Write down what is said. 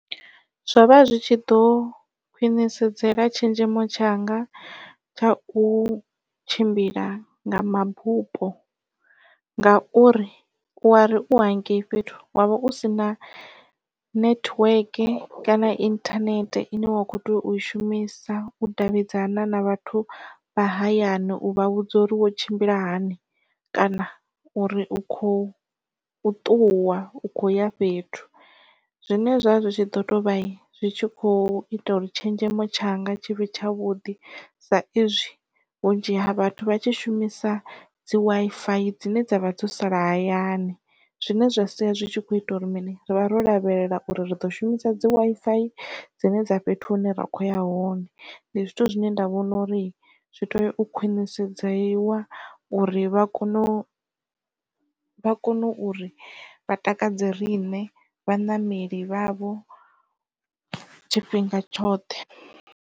Zwovha zwi tshi ḓo khwinisedzela tshenzhemo tshanga tsha u tshimbila nga mabupo. Nga uri u wa ri u hangei fhethu wavha u si na network kana internet ine wa kho tea u i shumisa u davhidzana na vhathu vha hayani u vha vhudza uri wo tshimbila hani kana uri u khou u ṱuwa u khou ya fhethu. Zwine zwa zwi tshi ḓo tou vha zwi tshi kho ita uri tshenzhemo tshanga tshivhe tshavhuḓi sa izwi vhunzhi ha vhathu vha tshi shumisa dzi Wi-Fi dzine dza vha dzo sala hayani zwine zwa sia zwi tshi kho ita uri mini rivha ro lavhelela uri ri ḓo shumisa dzi Wi-Fi dzine dza fhethu hune ra kho ya hone ndi zwithu zwine nda vhona uri zwi tea u khwinisedziwa uri vha kone u vha kone uri vha takadze riṋe vhaṋameli vha vho tshifhinga tshoṱhe.